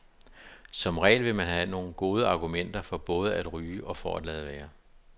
Som regel vil man have gode argumenter for både at ryge og for at lade være.